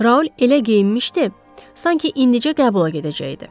Raul elə geyinmişdi, sanki indicə qəbula gedəcəkdi.